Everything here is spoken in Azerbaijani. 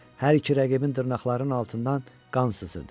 Hər iki rəqibin dırnaqlarının altından qan sızırdı.